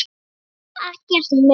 Og svo ekkert meir.